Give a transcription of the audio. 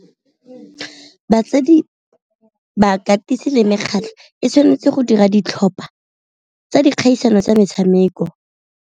Batsadi, bakatisi le mekgatlho e tshwanetse go dira ditlhopha tsa dikgaisano tsa metshameko.